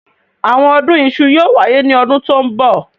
Àwọn ọdún iṣu yóò wáyé ní ọdún tó ń bọ̀.